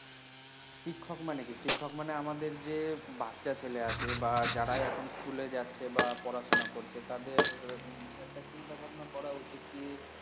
শিক্ষক মানে কি শিক্ষক মানে আমাদের যে বাচ্চা ছেলে আছে বা যারা এখন school এ যাচ্ছে বা পড়াশোনা করছে তাদের একটা চিন্তা ভাবনা করা উচিত কি